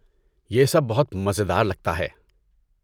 یہ سب بہت مزیدار لگتا ہے۔